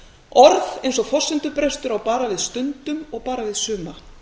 orð eins og forsendubrestur á bara við stundum og bara við suma